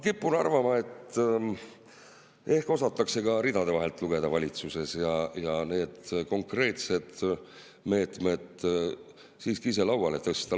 Ma kipun arvama, et ehk osatakse valitsuses ka ridade vahelt lugeda ja need konkreetsed meetmed siiski ise lauale tõsta.